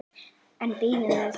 En bíðum við.